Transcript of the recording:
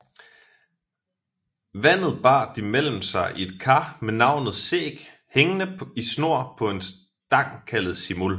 Vandet bar de mellem sig i et kar med navnet Sæg hængende i snor på en stang kaldet Simul